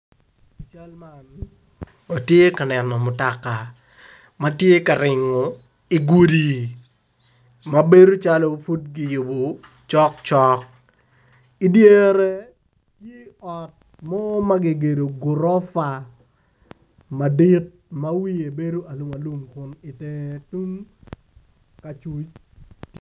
I cal man watye ka neno mutoka matye ka ringo igudi mabedo cal pud kiyubo macok cok idyere tye ot mo ma kigedo gurofa madit ma wiye bedo alum alum kun itenge tung acuc